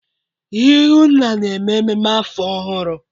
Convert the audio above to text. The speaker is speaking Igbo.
ihunna na-eme mmemme afọ ọhụrụ?